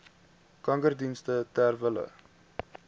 kankerdienste ter wille